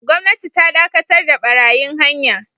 Gwamnati ta dakatar da barayin hanya